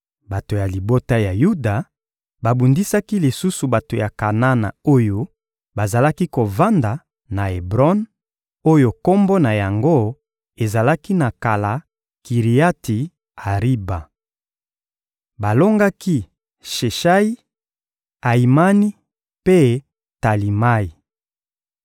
Bato ya libota ya Yuda babundisaki lisusu bato ya Kanana oyo bazalaki kovanda na Ebron, oyo kombo na yango ezalaki na kala «Kiriati-Ariba.» Balongaki Sheshayi, Ayimani mpe Talimayi.